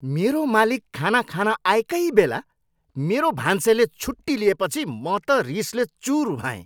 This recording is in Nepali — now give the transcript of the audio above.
मेरो मालिक खाना खान आएकै बेला मेरो भान्सेले छुट्टी लिएपछि म त रिसले चुर भएँ।